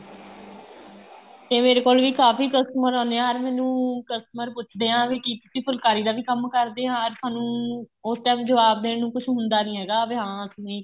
ਤੇ ਮੇਰੇ ਕੋਲ ਵੀ ਕਾਫੀ customer ਆਉਣੇ ਏ or ਮੈਨੂੰ customer ਪੁੱਛਦੇ ਏ ਵੀ ਕੀ ਤੁਸੀਂ ਫੁਲਕਾਰੀ ਦਾ ਵੀ ਕੰਮ ਕਰਦੇ ਆ ਸਾਨੂੰ ਉਸ time ਜਵਾਬ ਦੇਣ ਨੂੰ ਕੁੱਝ ਹੁੰਦਾ ਨਹੀਂ ਹੈਗਾ ਵੀ ਹਾਂ ਅਸੀਂ